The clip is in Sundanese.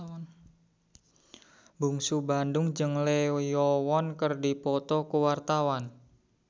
Bungsu Bandung jeung Lee Yo Won keur dipoto ku wartawan